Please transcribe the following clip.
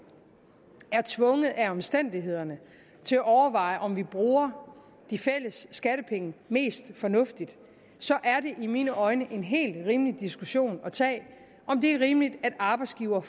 er tvunget af omstændighederne til at overveje om vi bruger de fælles skattepenge mest fornuftigt så er det i mine øjne en helt rimelig diskussion at tage om det er rimeligt at arbejdsgiver